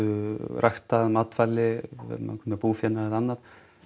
ræktað matvæli verið með ákveðinn búfénað eða annað